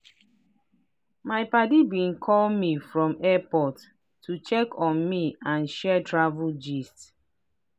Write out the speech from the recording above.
my padi been call me from airport to check on me and share travel gist.